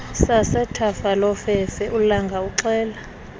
sasethafalofefe ulanga uxela